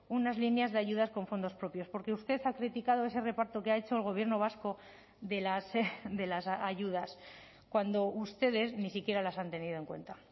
unas líneas de ayudas con fondos propios porque usted ha criticado ese reparto que ha hecho el gobierno vasco de las ayudas cuando ustedes ni siquiera las han tenido en cuenta